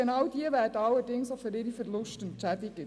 Jene werden aber für ihre Verluste entschädigt.